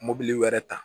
Mobili wɛrɛ ta